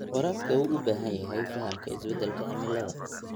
Waraabka wuxuu u baahan yahay fahamka isbeddelka cimilada.